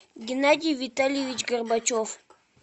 геннадий витальевич горбачев